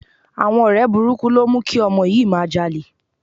Àwọn ọ̀rẹ́ burúkú ló mú kí ọmọ yìí máa jalè